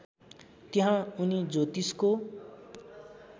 त्यहाँ उनी ज्योतिषको